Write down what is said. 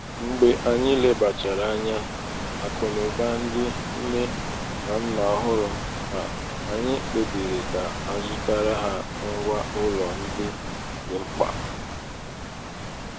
mgbe anyị lebachara ányá 'akunauba ndị nne na nna ọhụrụ a anyị kpebiri ka azụtara ha ngwa ụlọ ndị um dị mkpa.